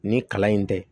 Nin kalan in tɛ